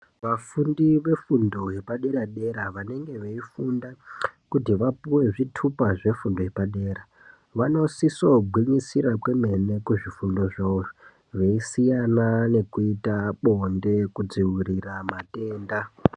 Vafundi vefundo yepadera dera vanenge veifunda kuti vapuwe zvitupa zvefundo yepadera vanosisogwinyisira kwemene kuzvifundo zvawozvo veisiyana nekuita bonde kudzivirira matenda.